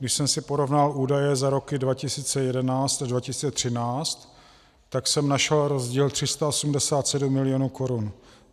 Když jsem si porovnal údaje za roky 2011 až 2013, tak jsem našel rozdíl 387 milionů korun.